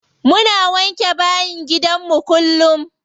Muna wanke bayin gidanmu kullum.